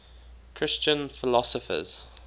christian philosophers